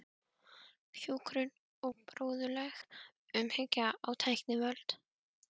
Hjúkrun og bróðurleg umhyggja á tækniöld.